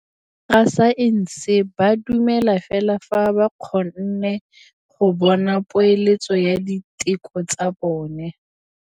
Borra saense ba dumela fela fa ba kgonne go bona poeletsô ya diteko tsa bone.